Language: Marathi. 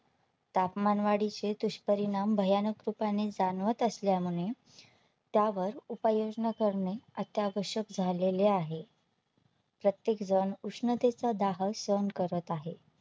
तापमानवाढी चे दुष्परिणाम भयानक रूपाने जाणवत असल्यामुळे त्यावर उपाययोजना करणे अत्यावश्यक झालेले आहे. प्रत्येकजण उष्णते चा दाह सहन करत आहे.